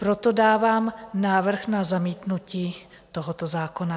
Proto dávám návrh na zamítnutí tohoto zákona.